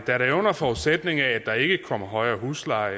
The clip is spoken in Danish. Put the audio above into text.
er under forudsætning af at der ikke kommer højere husleje